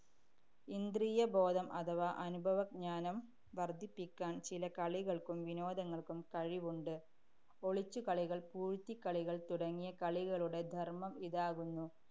ഇന്ദ്രീയബോധം അഥവാ അനുഭവജ്ഞാനം വര്‍ധിപ്പിക്കാന്‍ ചില കളികള്‍ക്കും വിനോദങ്ങള്‍ക്കും കഴിവുണ്ട്. ഒളിച്ചു കളികള്‍, പൂഴ്ത്തിക്കളികള്‍ തുടങ്ങിയ കളികളുടെ ധര്‍മം ഇതാകുന്നു.